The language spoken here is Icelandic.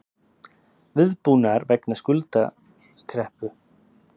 Viðbúnaður gegn skuldakreppu